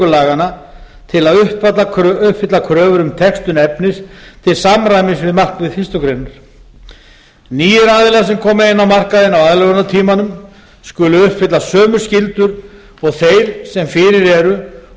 laganna til að uppfylla kröfur um textun efnis til samræmis við markmið fyrstu grein nýir aðilar sem koma inn á markaðinn á aðlögunartímanum skulu uppfylla sömu skyldur og þeir sem fyrir eru